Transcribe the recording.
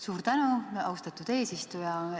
Suur tänu, austatud eesistuja!